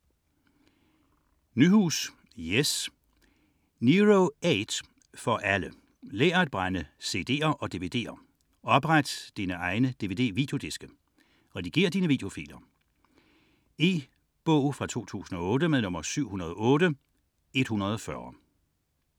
19.685 Nyhus, Jes: Nero 8 for alle Lær at brænde cd'er og dvd'er. Opret dine egne dvd-videodiske. Redigér dine videofiler. E-bog 708140 2008.